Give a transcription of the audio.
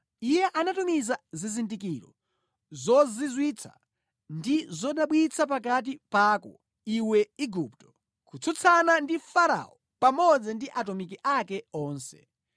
Iye anatumiza zizindikiro zozizwitsa ndi zodabwitsa pakati pako, iwe Igupto, kutsutsana ndi Farao pamodzi ndi atumiki ake onse.